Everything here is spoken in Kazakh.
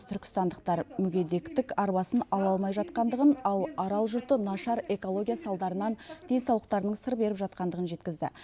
түркістандықтар мүгедектік арбасын ала алмай жатқандығын ал арал жұрты нашар экология салдарынан денсаулықтарының сыр беріп жатқандығын жеткізді